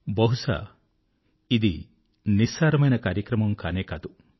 బహుశా ఇది నిస్సారమైన కార్యక్రమం కానే కాదు